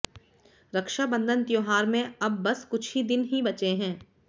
रक्षाबंधन त्योहार में अब बस कुछ ही दिन ही बचे हैं